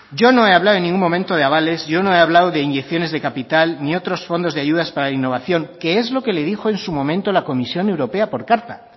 yo no he hablado en ningún momento de avales yo no he hablado de inyecciones de capital ni de otros fondos de ayudas para innovación que es lo que le dijo en su momento la comisión europea por carta